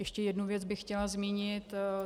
Ještě jednu věc bych chtěla zmínit.